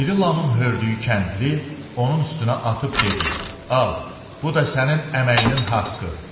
İri Lamın hördüyü kəndiri onun üstünə atıb dedi: Al, bu da sənin əməyinin haqqı.